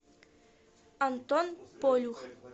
антон полюх